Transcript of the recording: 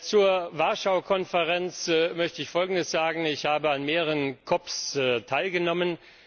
Zur Warschau Konferenz möchte ich Folgendes sagen Ich habe an mehreren COPs teilgenommen.